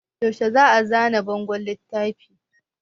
Yaushe za a zana bangon littafin?